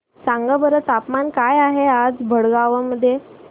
सांगा बरं तापमान काय आहे आज भडगांव मध्ये